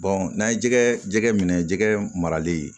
n'an ye jɛgɛ jɛgɛ minɛ jɛgɛ marali ye